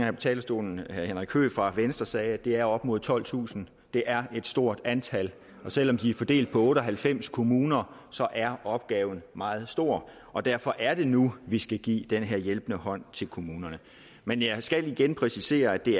på talerstolen herre henrik høegh fra venstre sagde er det op mod tolvtusind det er et stort antal og selv om de er fordelt på otte og halvfems kommuner er opgaven meget stor og derfor er det nu vi skal give den her hjælpende hånd til kommunerne men jeg skal igen præcisere at det